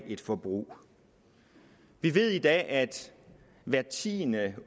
et forbrug vi ved i dag at hver tiende